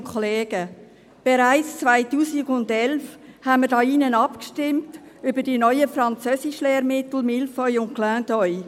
Bereits 2011 haben wir hier im Saal über die neuen Französischlehrmittel «Mille feuilles» und «Clin d’œil» abgestimmt.